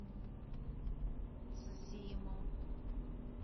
цзимо